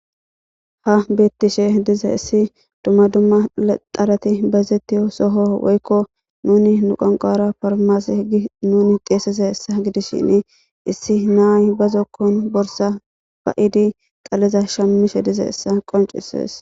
Ha beettishe diza issi dumma dumma xarati bazettiy soho woykko nuni nuqanqara farmase gi nuni xeesese hessa gidishin issi naay bazokkon borsa ba'idi qaleza shammishe dize essa qoncisees.